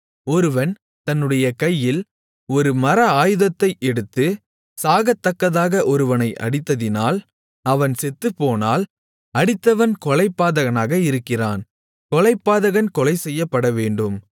ஒருவன் தன்னுடைய கையில் ஒரு மர ஆயுதத்தை எடுத்து சாகத்தக்கதாக ஒருவனை அடித்ததினால் அவன் செத்துப்போனால் அடித்தவன் கொலைபாதகனாக இருக்கிறான் கொலைபாதகன் கொலைசெய்யப்படவேண்டும்